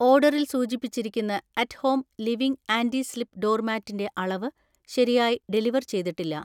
ഓർഡറിൽ സൂചിപ്പിച്ചിരിക്കുന്ന at home living anti slip door മാറ്റിൻ്റെ അളവ് ശരിയായി ഡെലിവർ ചെയ്തിട്ടില്ല.